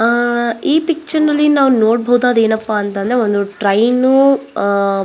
ಆಹ್ಹ್ ಈ ಪಿಕ್ಚರ್ ಅಲ್ಲಿ ನಾವು ನೋಡಬಹುದಾದ ಏನಪ್ಪಾ ಅಂದ್ರೆ ಒಂದು ಟ್ರೇನು ಆಹ್ಹ್ --